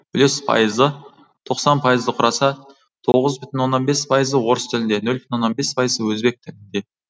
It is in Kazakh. үлес пайызы тоқсан пайызды құраса тоғыз бүтін оннан бес пайызы орыс тілінде нөл бүтін оннан бес пайыз өзбек тілінде